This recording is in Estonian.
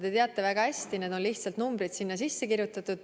Te teate väga hästi, et sinna on lihtsalt numbrid sisse kirjutatud.